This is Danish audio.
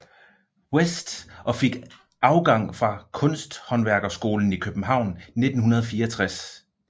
Westh og fik afgang fra Kunsthândværkerskolen i København 1964